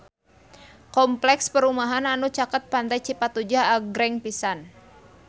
Kompleks perumahan anu caket Pantai Cipatujah agreng pisan